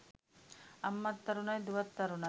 අම්මත් තරුණයි දුවත් තරුණයි.